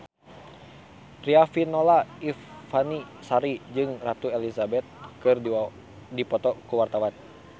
Riafinola Ifani Sari jeung Ratu Elizabeth keur dipoto ku wartawan